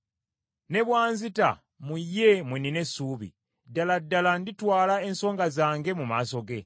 Ne bw’anzita, mu ye mwe nnina essuubi, ddala ddala nditwala ensonga zange mu maaso ge.